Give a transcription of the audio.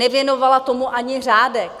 Nevěnovala tomu ani řádek.